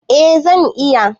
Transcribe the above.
Eh zan iya